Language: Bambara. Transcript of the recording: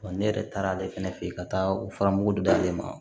ne yɛrɛ taara ale fɛnɛ fɛ yen ka taa o fara mugu dalen ma